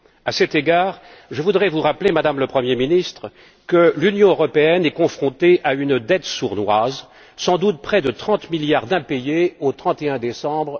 À cet égard, je voudrais vous rappeler, Madame la Première ministre, que l'Union européenne est confrontée à une dette sournoise, qui s'élève sans doute à près de 30 milliards d'impayés au 31 décembre